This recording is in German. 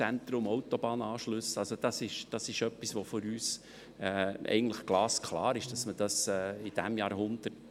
2018 Ausscheidung von Gewässerräumen entlang aller oberirdischen Gewässer Ergänzung: